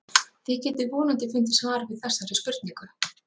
þið getið vonandi fundið svar við þessari spurningu